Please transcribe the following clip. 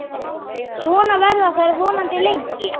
Svona verða þær vonandi lengi.